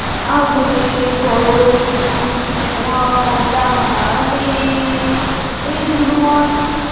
আগুনের পরশমণি ছোঁয়াও প্রাণে, এ জীবন।